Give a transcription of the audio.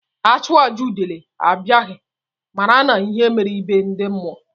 A chụọ àjà udele abịaghị, mara n'ihe mere be ndị mmụọ.